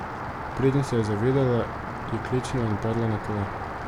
Preden se je zavedela, je klecnila in padla na tla.